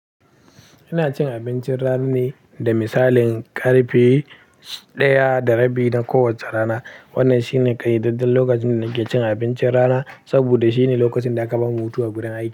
Ina cin abincin rana ne, da misalin karfe ɗaya da rabi na kowace rana. Wannan shine ƙayyadadden lokacin da nake cin abincin rana, saboda shine lokacin da aka bamu hutu a gurin aiki.